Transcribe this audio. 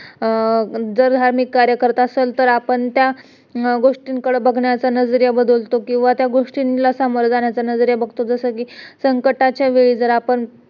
जर आम्ही कार्य करत असेल तर आपण त्या गोष्टीकडे बघण्याचा नजरेया बदलतो किंवा त्या गोष्टीला सामोरे जाण्याचा नजाऱया बघतो जस कि संकटाच्या वेळी जर आपण